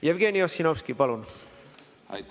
Jevgeni Ossinovski, palun!